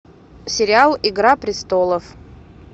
сериал игра престолов